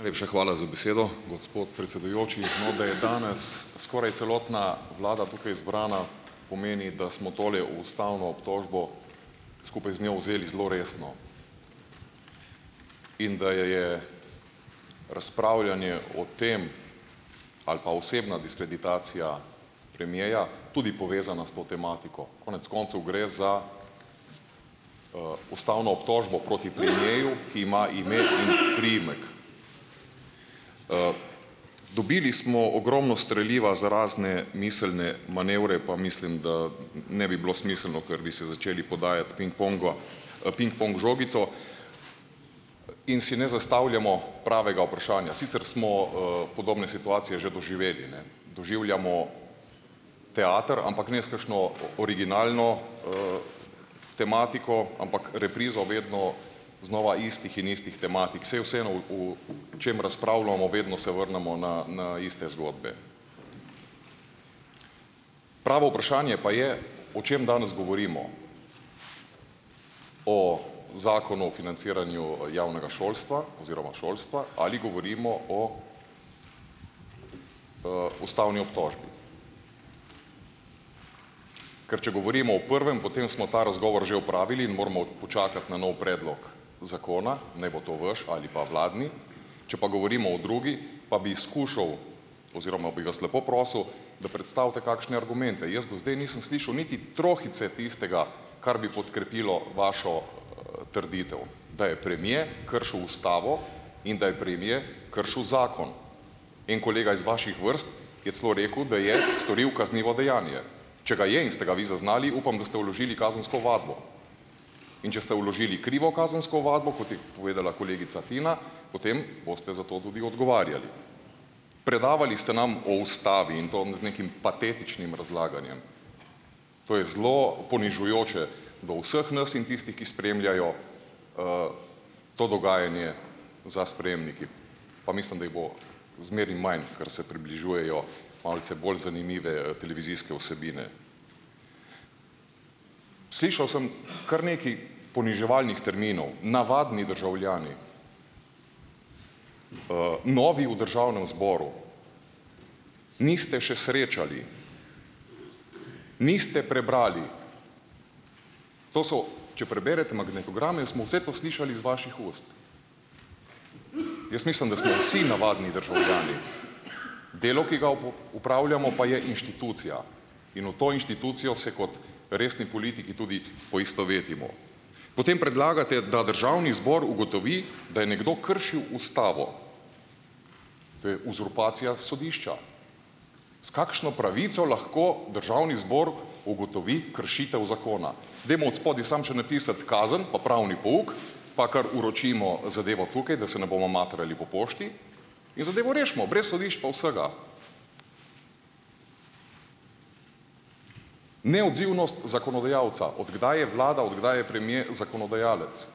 Najlepša hvala za besedo, gospod predsedujoči. No, da je danes skoraj celotna vlada tukaj zbrana, pomeni, da smo tole, ustavno obtožbo, skupaj z njo, vzeli zelo resno in da je je razpravljanje o tem, ali pa osebna diskreditacija premiera tudi povezana s to tematiko. Konec koncev gre za, ustavno obtožbo proti premieru, ki ima ime in priimek. Dobili smo ogromno streliva za razne miselne manevre, pa mislim, da ne bi bilo smiselno, ker bi si začeli podajati pingpong, pingpong žogico. In si ne zastavljamo pravega vprašanja. Sicer smo, podobne situacije že doživeli, ne. Doživljamo teater, ampak ne s kakšno originalno, tematiko, ampak reprizo vedno znova istih in istih tematik. Saj vseeno, o čem razpravljamo, vedno se vrnemo na na iste zgodbe. Pravo vprašanje pa je, o čem danes govorimo, o Zakonu o financiranju, javnega šolstva oziroma šolstva ali govorimo o, ustavni obtožbi. Ker če govorimo o prvem, potem smo ta razgovor že opravili in moramo počakati na nov predlog zakona, naj bo to vaš ali pa vladni. Če pa govorimo o drugi, pa bi skušal oziroma bi vas lepo prosil, da predstavite kakšne argumente. Jaz do zdaj nisem slišal niti trohice tistega, kar bi podkrepilo vašo trditev, da je premier kršil ustavo in da je premier kršil zakon. En kolega iz vaših vrst je celo rekel, da je storil kaznivo dejanje. Če ga je, in ste ga vi zaznali, upam, da ste vložili kazensko ovadbo. In če ste vložili krivo kazensko ovadbo, kot je povedala kolegica Tina, potem boste za to tudi odgovarjali. Predavali ste nam o ustavi in to z nekim patetičnim razlaganjem. To je zelo ponižujoče do vseh nas in tistih, ki spremljajo to dogajanje za sprejemniki. Pa mislim, da jih bo zmeraj manj, ker se približujejo malce bolj zanimive, televizijske vsebine. Slišal sem kar nekaj poniževalnih terminov, navadni državljani, novi v državnem zboru, niste še srečali, niste prebrali. To so, če preberete magnetograme, smo vse to slišali iz vaših ust. Jaz mislim, da smo vsi navadni državljani . Delo, ki ga opravljamo, pa je inštitucija in v to inštitucijo se kot resni politiki tudi poistovetimo. Potem predlagate, da državni zbor ugotovi, da je nekdo kršil ustavo. To je uzurpacija sodišča. S kakšno pravico lahko državni zbor ugotovi kršitev zakona? Dajmo odspodaj samo še napisati kazen pa pravni pouk, pa kar vročimo, zadevo tukaj, da se ne bomo matrali po pošti, in zadevo rešimo brez sodišč pa vsega. Neodzivnost zakonodajalca. Od kdaj je vlada, od kdaj je premier zakonodajalec?